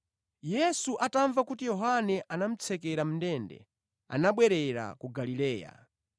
Yesu atamva kuti Yohane anamutsekera mʼndende, anabwerera ku Galileya.